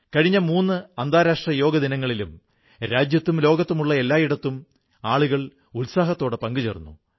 കഴിഞ്ഞ മൂന്ന് അന്താരാഷ്ട്ര യോഗാ ദിനങ്ങളിലും രാജ്യത്തും ലോകത്തുമുള്ള എല്ലായിടത്തും ആളുകൾ ഉത്സാഹത്തോടെ പങ്കുചേർന്നു